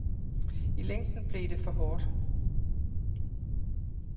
I længden blev det for hårdt.